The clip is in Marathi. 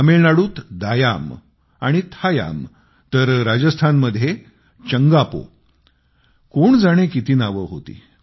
तामिळनाडूत दायाम आणि थायाम तर राजस्थानमध्ये चंगापो कोण जाणे किती नावे होती